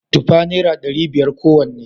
Tufa naira dari biyar kowanne